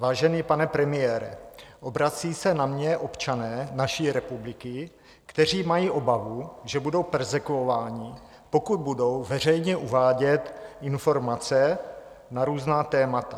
Vážený pane premiére, obrací se na mě občané naší republiky, kteří mají obavu, že budou perzekvováni, pokud budou veřejně uvádět informace na různá témata.